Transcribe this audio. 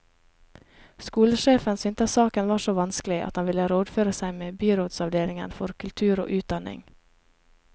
Skolesjefen syntes saken var så vanskelig at han ville rådføre seg med byrådsavdelingen for kultur og utdanning.